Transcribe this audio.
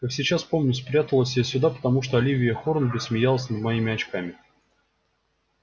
как сейчас помню спряталась я сюда потому что оливия хорнби смеялась над моими очками